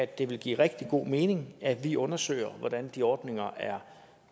det vil give rigtig god mening at vi undersøger hvordan de ordninger er